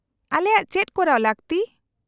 -ᱟᱞᱮᱭᱟᱜ ᱪᱮᱫ ᱠᱚᱨᱟᱣ ᱞᱟᱹᱠᱛᱤ ?